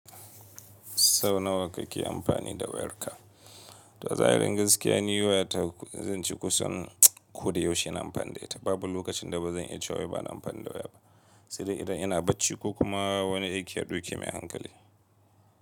Sau nawa kake amfani da wayarka? To a azahirin yi gaskiya ni wayata zan ce kusan ko da yaushe ina amfani da ita. Babu lokacin da ba zan yi cewa ba na amfani da waya ba, sai dai idan ina bacci ko kuma wani aiki ya duki mai hankali.